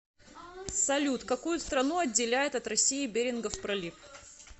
салют какую страну отделяет от россии берингов пролив